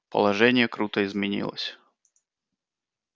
положение круто изменилось